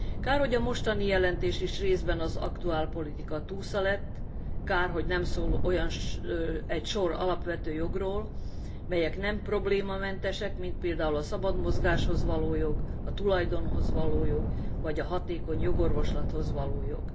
Kár, hogy a mostani jelentés is részben az aktuálpolitika túsza lett, kár, hogy nem szól egy sor alapvető jogról, melyek nem problémamentesek, mint például a szabad mozgáshoz való jog, a tulajdonhoz való jog, vagy a hatékony jogorvoslathoz való jog.